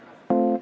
Aitäh!